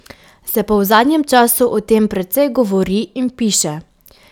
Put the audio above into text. Se pa v zadnjem času o tem precej govori in piše.